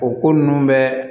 O ko ninnu bɛɛ